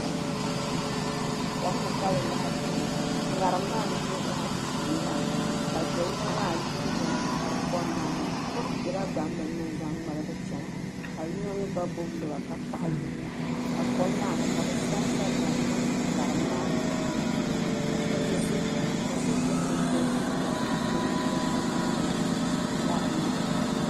Kom ni ka bɛ lahi be ŋɔ ŋariŋ maa n duhi ba na ti shee maa ka do yino maa yihi binyahiri kom maa ni di bela gbambili ni n zaŋ ŋmaligi chana ka yino mi gba gbubi lɔba ka kaɣi yuli na ka kom maa ni ka bɛ sa n sa dari niŋ ŋariŋ maa puuni ka so yɛ ka so so pɛto dɔzim n gba ʒi ŋariŋ maa puuni.